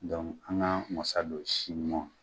an k'an wasa don si ɲuman na